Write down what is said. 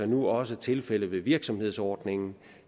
nu også tilfældet ved virksomhedsordningen